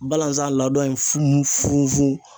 Balazan ladon in fun funfun